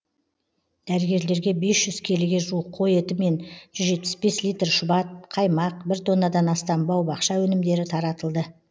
дәрігерлерге бес жүз келіге жуық қой еті мен жүз жетпіс бес литр шұбат қаймақ бір тоннадан астам бау бақша өнімдері таратылды